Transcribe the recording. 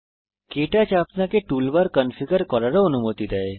কে টচ আপনাকে toolbar configure করারও অনুমতি দেয়